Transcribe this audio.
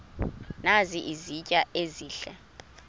nazi izitya ezihle